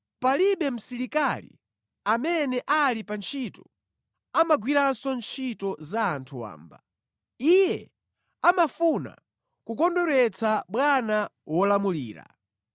Palibe msilikali amene ali pa ntchito amagwiranso ntchito za anthu wamba, iye amafuna kukondweretsa bwana wolamulira.